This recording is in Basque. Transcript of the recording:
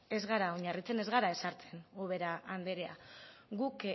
ez gara oinarritzen ez gara ezartzen ubera andrea guk